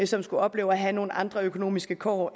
som skulle opleve at have nogle andre økonomiske kår